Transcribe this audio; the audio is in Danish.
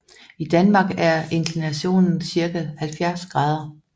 I Danmark er inklinationen cirka 70 grader